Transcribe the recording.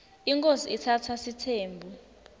inkhosi itsatsa sitsembu